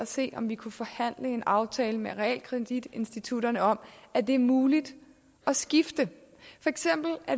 se om vi kunne forhandle en aftale med realkreditinstitutterne om at det er muligt at skifte